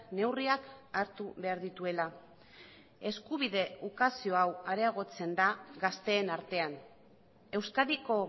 neurriak hartu behar dituela eskubide ukazio hau areagotzen da gazteen artean euskadiko